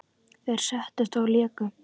Þeir settust og léku.